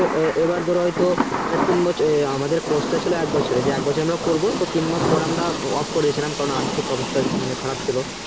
তো এইবার ধরো হয়তো আমাদের course টা ছিলো এক বছরের আর এক বছর আমরা করবো আর তিনমাস পর আমরা off করেছিলাম কারণ আর্থিক অবস্থা খুব খারাপ ছিলো